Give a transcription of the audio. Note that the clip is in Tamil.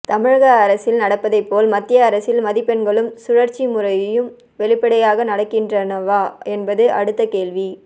தமிழக அரசில் நடப்பதை போல் மத்திய அரசில் மதிப்பெண்களும் சுழற்சி முறையும் வெளிப்படையாக நடக்கின்றனவா என்பது அடுத்த கேள்வி